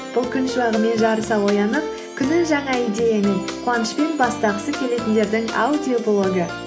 бұл күн шуағымен жарыса оянып күнін жаңа идеямен қуанышпен бастағысы келетіндердің аудиоблогы